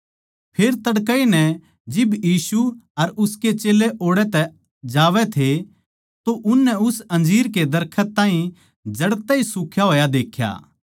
फेर तड़कए नै जिब यीशु अर उसके चेल्लें ओड़ै कै जावै थे तो उननै उस अंजीर कै दरखत को जड़ तै ए सुख्या होया देख्या